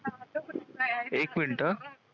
एक मिनिटं